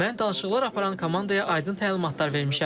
Mən danışıqlar aparan komandaya aydın təlimatlar vermişəm.